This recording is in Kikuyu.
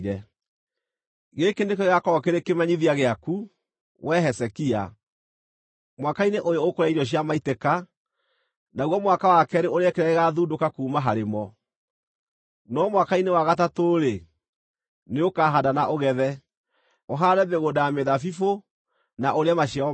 “Gĩkĩ nĩkĩo gĩgaakorwo kĩrĩ kĩmenyithia gĩaku, wee Hezekia: “Mwaka-inĩ ũyũ ũkũrĩa irio cia maitĩka, naguo mwaka wa keerĩ ũrĩe kĩrĩa gĩgaathundũka kuuma harĩ mo. No mwaka-inĩ wa gatatũ-rĩ, nĩũkahaanda na ũgethe, ũhaande mĩgũnda ya mĩthabibũ, na ũrĩe maciaro mayo.